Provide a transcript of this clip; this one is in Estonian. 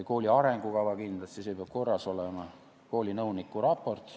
Kooli arengukava peab kindlasti korras olema ja ka koolinõuniku raport.